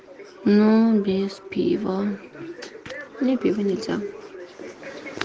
ну без пива мне пиво нельзя